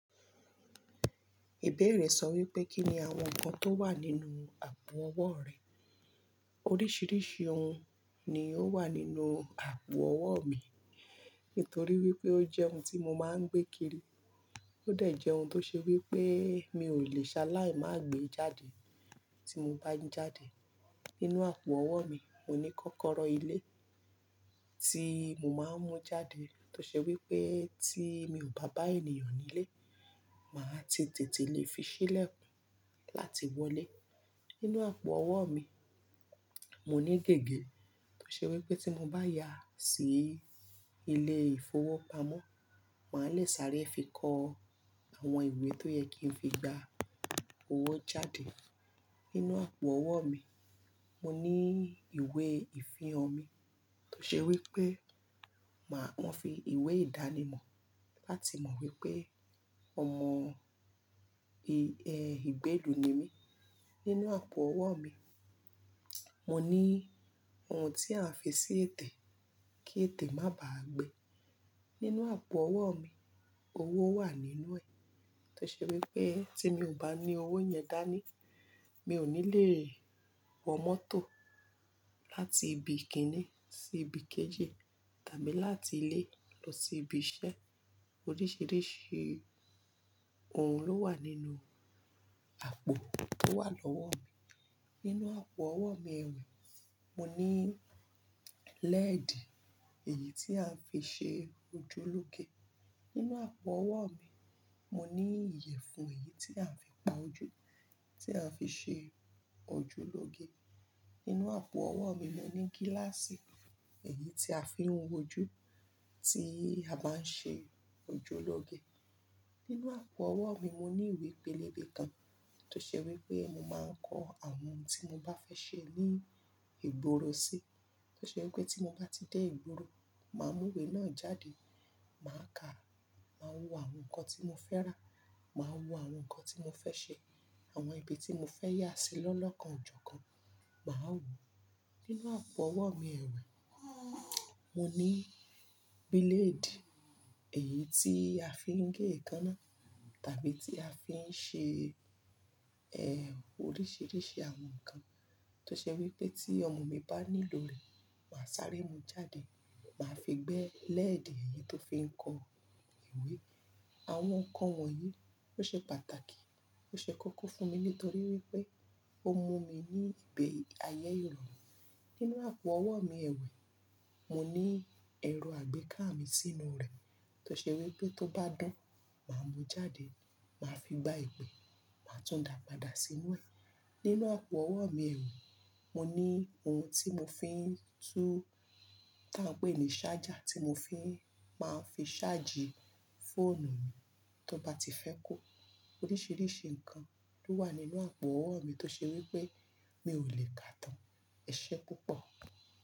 Ìbéèrè sọ wípé kí ni àwọn ǹkan tó wà nínú àpò owó rẹ. Oríṣìíríṣìí ohun ni ó wà nínú àpò owó mi, nítorí wípé ó jẹ́ ohun tí mo máa ń gbé kiri. Ó dé jẹ ohun tó ṣe wípé mi ò lè ṣe aláì má gbé e jáde. Tí mo bá jáde, nínú àpò owó mi, mo ní kọ́kọ́rọ́ ilé tí mo máa ń mú jáde tó ṣe wípé tí mi ò bá bá ènìyàn nílé, màá ti tètè lè fi sílẹ̀kun láti wọlé. Nínú àpò owó mi, mo ní gègé tó ṣe wípé tí mo bá yà sí ilé ìfowópamọ́, màá lè sáré fi kó àwọn ìwé tó yẹ kí n fi gba owó jáde. Nínú àpò owó mi, mo ní ìwé ìfihàn mi tó ṣe wípé, màá fi ìwé ìdánimọ̀ láti mọ wípé ọmọ ìgbélù ni mí. Nínú àpò owó mi, mo ní ohun tí a ń fi sí ètè kí ètè má bà á gbé. Nínú àpò owó mi, owó wà nínú ẹ̀ tó ṣe wípé tí mi ò bá ní owó yẹn dání, mi ò ní lè wọ mọ́tò láti ibi kíní sí ibi kejì tàbí láti ilé lọ sí ibi iṣẹ́. Oríṣìíríṣìí ohun ló wà nínú àpò tó wà lọ́wọ́ mi. Nínú àpò owó mi ẹ̀wé, mo ní lẹ́ẹ̀dì èyí tí a ń fi ṣe ojúlóge. Nínú àpò owó mi, mo ní iyẹ̀fun èyí tí à ń fi pa ojú, tí a fi ṣe ojúlóge. Nínú àpò owó mi, mo ní gíláàsì èyí tí a fi ń wojú, tí a bá ń ṣe ojúlóge. Nínú àpò owó mi, mo ní ìwé pélébé kan tó ṣe wípé mo máa ń kọ àwọn ohun tí mo bá fẹ́ ṣe ní ìgboro sí. Tó ṣe wípé tí mo bá ti dé ìgboro, màá mú ìwé náà jáde, màá ka, màá wo àwọn ǹkan tí mo fẹ́ rà, màá wo àwọn ǹkan tí mo fẹ́ ṣe, àwọn ibi tí mo fẹ́ yá sí lọ́lọ́kan, ọ̀jọ̀kan màá wò. Nínú àpò owó mi ẹ̀wé, mo ní bílédì èyí tí a fi ń gé ǹkan náà tàbí tí a fi ń ṣe ẹ́ oríṣìíríṣìí àwọn ǹkan tó ṣe wípé tí ọmọ mi bá ní ló ré, màá sáré mu jáde, màá fi gbẹ lẹ́ẹ̀dì èyí tó fi ń kọ ìwé. Àwọn ǹkan wọ̀nyí ó ṣe pàtàkì, ó ṣe kókó fún mi nítorí wípé ó mú mi ní igbẹ̀ ayé iròrun. Nínú àpò owó mi ẹ̀wé, mo ní ẹro àgbéká mi sínú rẹ̀ tó ṣe wípé tó bá dún, màá mú jáde, màá fi gba ìpẹ́, màá tún dàpàdà sínu ẹ̀. Nínú àpò owó mi ẹ̀wì, mo ní ohun tí mo fi ń tú tá ń pè ní ṣájà tí mo fi máa ń fi ṣáàjì fóònù mi tó bá ti fẹ́ ku. Oríṣìíríṣìí ǹkan ló wà nínú àpò owó mi tó ṣe wípé mi ò lè kà tán. Ẹ ṣé púpọ̀.